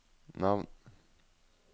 navn